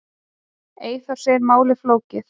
Eyþór segir málið flókið.